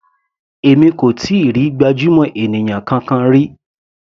Èmi kò tíì rí gbajúmọ̀ ènìyàn kankan rí.